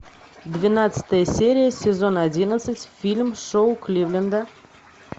двенадцатая серия сезон одиннадцать фильм шоу кливленда